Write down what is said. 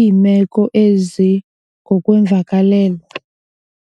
iimeko ezingokweemvakalelo.